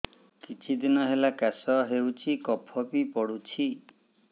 କିଛି ଦିନହେଲା କାଶ ହେଉଛି କଫ ବି ପଡୁଛି